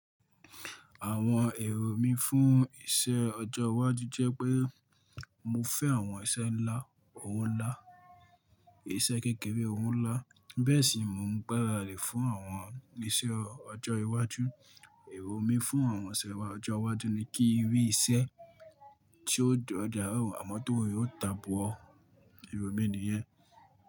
Àwọn èrò mí fún iṣẹ́ ọjọ́ iwájú jẹ́ pé mo fẹ́ àwọn iṣẹ́ ńlá, òwo ńlá, iṣẹ́ kékeré òwo ńlá bẹ́ẹ̀ sì mó ń gbára di fún àwọn iṣẹ́ ọjọ́ iwájú. Èrò mí fún àwọn iṣẹ́ ọjọ́ iwájú ni kí n rí iṣẹ́ tí ó dára amọ tówo re o ta bọ ọ. Èrò mí ni yẹn.